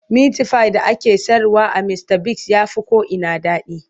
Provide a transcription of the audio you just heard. Mitifayin da ake sayarwa a Mistabigs ya fi ko'ina daɗi.